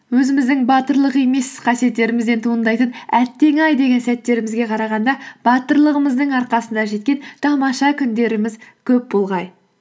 өзіміздің батырлық емес қасиеттерімізден туындайтын әттең ай деген сәттерімізге қарағанда батырлығымыздың арқасында жеткен тамаша күндеріміз көп болғай